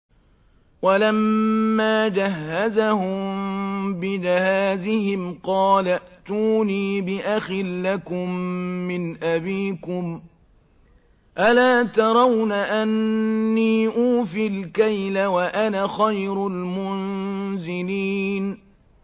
وَلَمَّا جَهَّزَهُم بِجَهَازِهِمْ قَالَ ائْتُونِي بِأَخٍ لَّكُم مِّنْ أَبِيكُمْ ۚ أَلَا تَرَوْنَ أَنِّي أُوفِي الْكَيْلَ وَأَنَا خَيْرُ الْمُنزِلِينَ